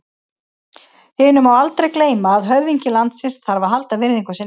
Hinu má aldrei gleyma að höfðingi landsins þarf að halda virðingu sinni.